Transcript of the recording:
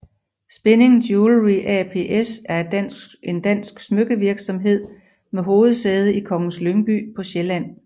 Spinning Jewelry ApS et en dansk smykkevirksomhed med hovedsæde i Kongens Lyngby på Sjælland